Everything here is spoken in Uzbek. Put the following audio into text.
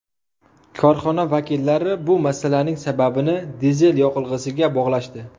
Korxona vakillari bu masalaning sababini dizel yoqilg‘isiga bog‘lashdi.